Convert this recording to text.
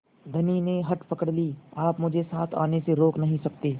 धनी ने हठ पकड़ ली आप मुझे साथ आने से रोक नहीं सकते